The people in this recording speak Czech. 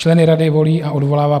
Členy rady volí a odvolává